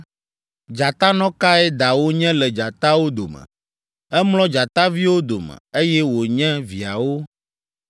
“ ‘Dzatanɔ kae dawò nye le dzatawo dome? Emlɔ dzataviwo dome, eye wònye viawo.